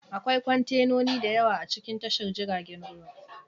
Akwai kwantenoni da yawa a cikin tashar jiragen ruwa